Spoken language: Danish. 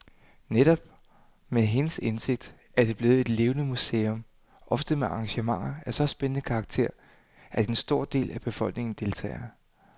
Netop med hendes indsigt er det blevet et levende museum, ofte med arrangementer af så spændende karakter, at en stor del af befolkningen deltager.